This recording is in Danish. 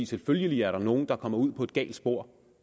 selvfølgelig er der nogen der kommer ud på et galt spor